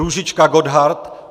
Růžička Gothard